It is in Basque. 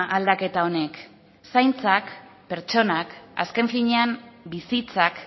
aldaketa honek zaintzak pertsonak azken finean bizitzak